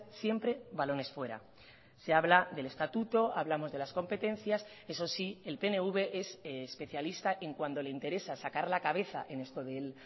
siempre balones fuera se habla del estatuto hablamos de las competencias eso sí el pnv es especialista en cuando le interesa sacar la cabeza en esto del